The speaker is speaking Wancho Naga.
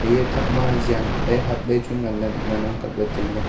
eya thakma janpe hapley chu nganley ngan ang kopley tailey.